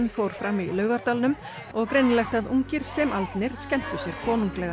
fór fram í Laugardalnum og greinilegt að ungir sem aldnir skemmtu sér konunglega